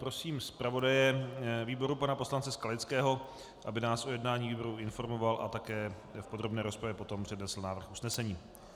Prosím zpravodaje výboru pana poslance Skalického, aby nás o jednání výboru informoval a také v podrobné rozpravě potom přednesl návrh usnesení.